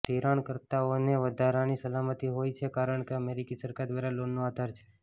ધિરાણકર્તાઓને વધારાની સલામતી હોય છે કારણ કે અમેરિકી સરકાર દ્વારા લોનનો આધાર છે